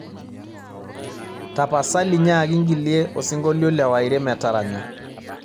tapasali nyaaki ng'ilie osinkolio le Wyre metaranya